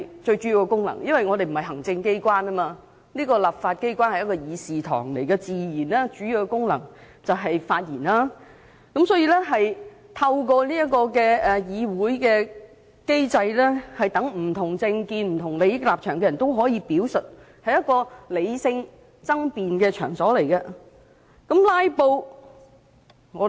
這個議會並非行政機關，立法機關是議事堂，最主要的功能自然是發言，透過議會機制讓不同政見和利益立場的人作出表述，這是一個理性爭辯的場所。